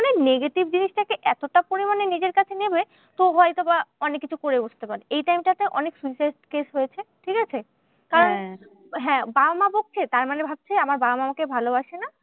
মানে negative জিনিসটাকে এতটা পরিমানে নিজের সাথে নেবে তো হয়তো বা অনেককিছু করে বসতে পারে। এই time টা তে অনেক suicide case হয়েছে, ঠিকাছে? হ্যাঁ বাবা মা বকছে তার মানে ভাবছে আমার বাবা মা আমাকে ভালোবাসে না।